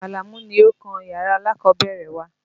Àlàmú ni ó kun yàrá alákọ̀ọ́bẹ̀rẹ̀ wa.